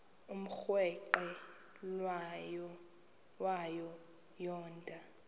umrweqe wayo yoonda